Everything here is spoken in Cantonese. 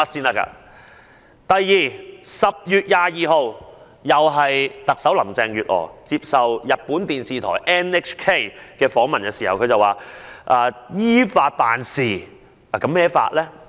再者，在10月22日，林鄭月娥接受日本放送協會訪問時表示，特區政府只是依法辦事。